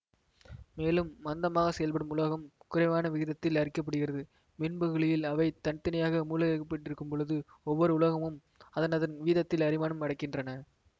மேலும் மந்தமாக செயல்படும் உலோகம் குறைவான விகிதத்தில் அரிக்கப்படுகிறது மின்பகுளியில் அவை தனி தனியாக மூழ்கவைக்கப்பட்டிருக்கும்பொழுது ஒவ்வொறு உலோகமும் அதனதன் வீதத்தில் அரிமானம் அடைகின்றன